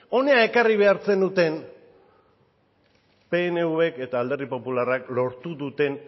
hona ekarri behar zenuten pnvk eta alderdi popularrak lortu duten